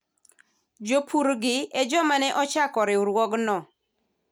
jopur gi e joma ne ochako riwruogno